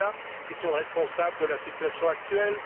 Preda qui sont responsables de la situation actuelle.